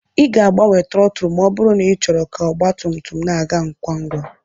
Ị ga-agbanwe trọtụl ma ọ bụrụ na ịchọrọ ka ọgba tum tum na-aga ngwa ngwa